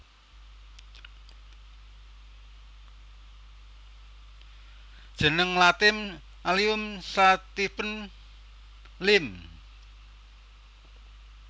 Jeneng Latin Allium sativum Linn